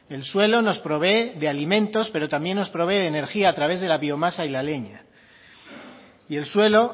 el suelo nos provee de alimentos pero también nos provee de energía a través de la biomasa y la leña y el suelo